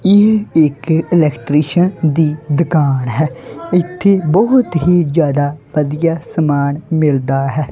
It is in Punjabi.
ਇਹ ਇੱਕ ਇਲੈਕਟਰੀਸ਼ੀਅਨ ਦੀ ਦੁਕਾਨ ਹੈ ਇਥੇ ਬਹੁਤ ਹੀ ਜਿਆਦਾ ਵਧੀਆ ਸਮਾਨ ਮਿਲਦਾ ਹੈ।